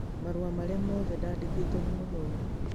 Marũa marĩa mothe ndandĩkĩtwo nĩ mũthomi